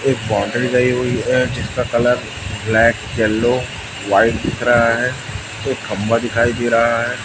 एक बाउंड्री गई हुई है जिसका कलर ब्लैक येलो व्हाइट दिख रहा है एक खंभा दिखाई दे रहा है।